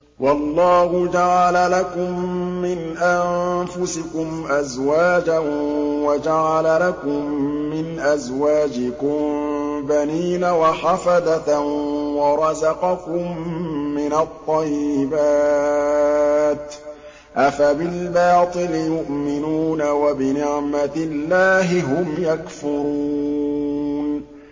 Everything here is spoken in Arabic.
وَاللَّهُ جَعَلَ لَكُم مِّنْ أَنفُسِكُمْ أَزْوَاجًا وَجَعَلَ لَكُم مِّنْ أَزْوَاجِكُم بَنِينَ وَحَفَدَةً وَرَزَقَكُم مِّنَ الطَّيِّبَاتِ ۚ أَفَبِالْبَاطِلِ يُؤْمِنُونَ وَبِنِعْمَتِ اللَّهِ هُمْ يَكْفُرُونَ